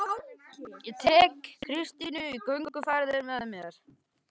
Og tek Kristínu í gönguferðir með mér